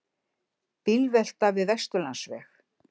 Bílvelta við Vesturlandsveg